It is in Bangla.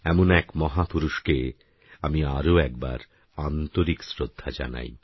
এমন এক মহাপুরুষকে আমি আরও একবার আন্তরিক শ্রদ্ধা জানাই